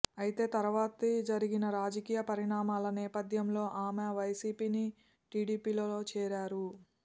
అయితే తర్వాత జరిగిన రాజకీయ పరిణామాల నేపథ్యంలో ఆమె వైసీపీని టీడీపీలో చేరారు